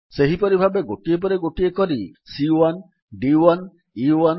ସେହିପରି ଭାବେ ଗୋଟିଏ ପରେ ଗୋଟିଏ କରି ସି1 ଡି1 ଏ1